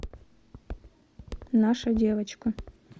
наша девочка